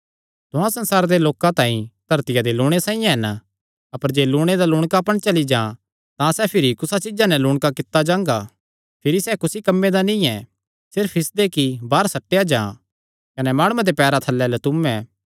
तुहां संसारे दे लोकां तांई धरतिया दे लूणै साइआं हन अपर जे लूणै दा लूणकापन चली जां तां सैह़ भिरी कुसा चीज्जा नैं लूणका कित्ता जांगा भिरी सैह़ कुसी कम्मे दा नीं ऐ सिर्फ इसदे कि बाहर सट्टेया जां कने माणुआं दे पैरां थल्लैं लतुयैं